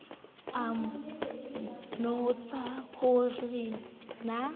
a nbotsa ho re na